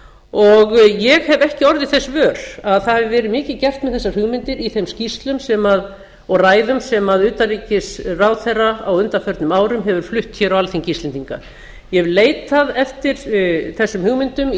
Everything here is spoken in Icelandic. og ég hef ekki orðið þess vör að það hafi verið mikið gert með þessar hugmyndir í þeim skýrslum og ræðum sem utanríkisráðherra á undanförnum árum hefur flutt á alþingi íslendinga ég hef leitað eftir þessum hugmyndum í